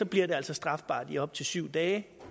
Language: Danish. bliver det altså strafbart i op til syv dage